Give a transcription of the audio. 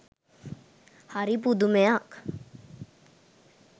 හරි පුදුමයක්